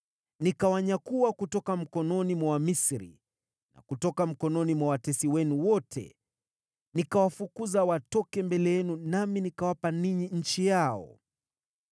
Nikawanyakua kutoka mikononi mwa Wamisri na kutoka mikononi mwa watesi wenu wote. Nikawafukuza watoke mbele yenu nami nikawapa ninyi nchi yao.